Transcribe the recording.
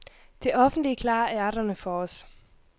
Det offentlige klarer ærterne for os.